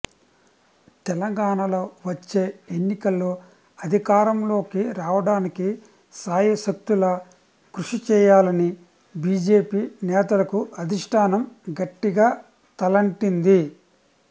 తెలంగాణలో వచ్చే ఎన్నికల్లో అధికారంలోకి రావడానికి శాయశక్తులా కృషి చేయాలని బీజేపీ నేతలకు అధిష్టానం గట్టిగా తలంటింది